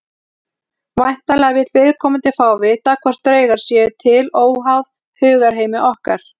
Væntanlega vill viðkomandi fá að vita hvort draugar séu til óháð hugarheimi okkar.